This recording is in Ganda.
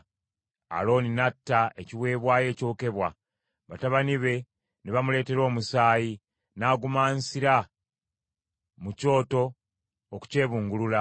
Alooni n’atta ekiweebwayo ekyokebwa; batabani be ne bamuleetera omusaayi, n’agumansira ku kyoto okukyebungulula.